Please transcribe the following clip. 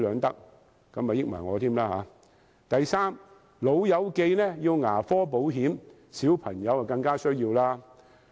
第三，"老友記"要牙科保險，小朋友更加需要。